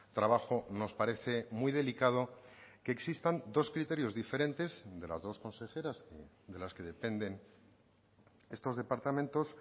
trabajo nos parece muy delicado que existan dos criterios diferentes de las dos consejeras de las que dependen estos departamentos